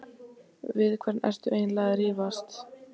Við hvern ertu eiginlega að rífast?